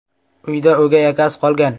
Uyda o‘gay akasi qolgan.